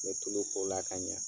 N bɛ tulu k'o la ka ɲa